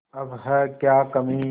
अब है क्या कमीं